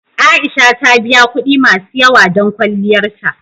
A'isha ta biya kuɗi masu yawa don kwalliyar ta.